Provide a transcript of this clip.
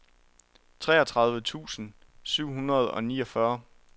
treogtredive tusind syv hundrede og niogfyrre